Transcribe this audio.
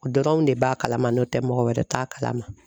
O dɔrɔnw de b'a kalama n'o tɛ mɔgɔ wɛrɛ t'a kalama.